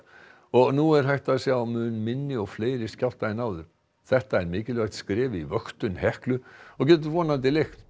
og nú er hægt að sjá mun minni og fleiri skjálfta en áður þetta er mikilvægt skref í vöktun Heklu og getur vonandi lengt